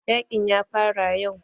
Yaƙin ya fara yau.